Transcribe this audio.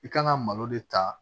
I kan ka malo de ta